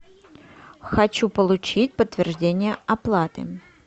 хочу получить подтверждение оплаты